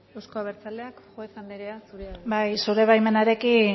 euzko abertzaleak juez andrea zurea da hitza bai zure baimenarekin